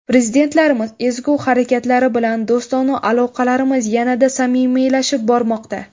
Prezidentlarimiz ezgu harakatlari bilan do‘stona aloqalarimiz yanada samimiylashib bormoqda.